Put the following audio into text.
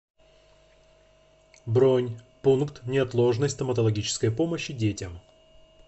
бронь пункт неотложной стоматологической помощи детям